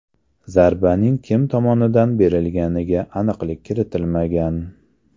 Zarbaning kim tomonidan berilganiga aniqlik kiritilmagan.